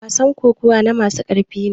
wasan kokawa na masu ƙarfi ne